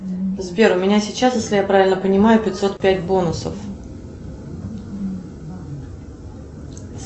сбер у меня сейчас если я правильно понимаю пятьсот пять бонусов